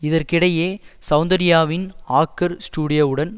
இதற்கிடையே சௌந்தர்யாவின் ஆக்கர் ஸ்டுடியோவுடன்